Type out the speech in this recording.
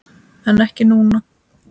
En ekki núna?